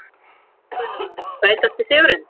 Einar Guðnason Sætasti sigurinn?